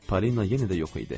Polina yenə də yox idi.